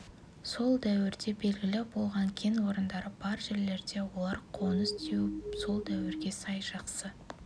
сол дәуірде белгілі болған кен орындары бар жерлерде олар қоныс теуіп сол дәуірге сай жақсы